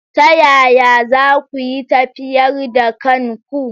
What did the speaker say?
Ta yaya za ku yi tafyar da kanku.